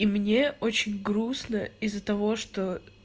и мне очень грустно из-за того что